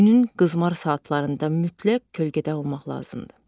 Günün qızmar saatlarında mütləq kölgədə olmaq lazımdır.